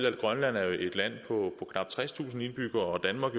at grønland er et land på knap tredstusind indbyggere og danmark